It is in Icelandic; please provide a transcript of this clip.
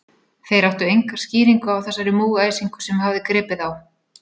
Þeir áttu enga skýringu á þessari múgæsingu, sem hafði gripið þá.